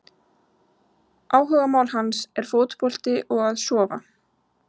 Áhugamál hans er fótbolti og að sofa!